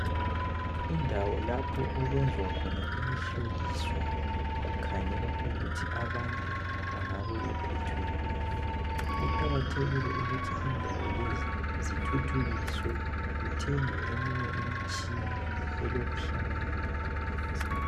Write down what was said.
Indawo lapho okwenziwa khona imihloliso kukhangelwa ukuthi abantu bangabe bephethwe yini. Kuqakathekile ukuthi indawo lezi. zithuthukisswe kuthengwe eminye imitshina elokuhlakanipha phakathi.